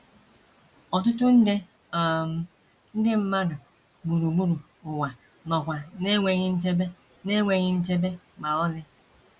Ọtụtụ nde um ndị mmadụ gburugburu ụwa nọkwa n’enweghị nchebe n’enweghị nchebe ma ọlị.